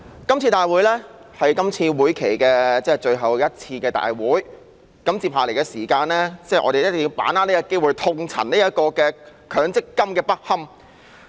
這次會議是今屆立法會會期最後一次會議，在餘下時間我們一定要把握這個機會痛陳強制性公積金的不堪。